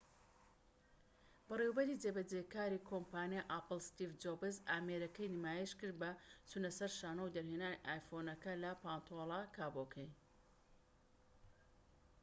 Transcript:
بەڕێوەبەری جێبەجێکاری کۆمپانیای ئاپڵ ستیڤ جۆبس ئامێرەکەی نمایشکرد بە چونەسەر شانۆ و دەرهێنانی ئایفۆنەکە لە پانتۆلە کابۆکەی